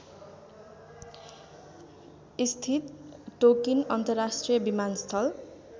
स्थित टोकिन अन्तर्राष्ट्रिय विमानस्थल